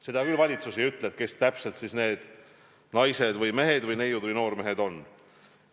Seda küll valitsus ei ütle, kes täpselt need naised ja mehed või neiud ja noormehed on.